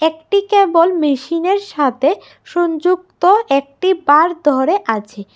একটি কেবল মেশিনের সাথে সংযুক্ত একটি বার ধরে আছে।